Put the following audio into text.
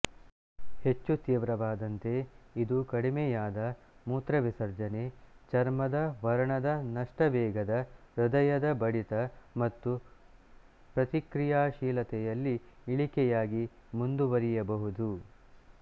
ಹೆಚ್ಚು ತೀವ್ರವಾದಂತೆ ಇದು ಕಡಿಮೆಯಾದ ಮೂತ್ರವಿಸರ್ಜನೆ ಚರ್ಮದ ವರ್ಣದ ನಷ್ಟ ವೇಗದ ಹೃದಯದ ಬಡಿತ ಮತ್ತು ಪ್ರತಿಕ್ರಿಯಾಶೀಲತೆಯಲ್ಲಿ ಇಳಿಕೆಯಾಗಿ ಮುಂದುವರಿಯಬಹುದು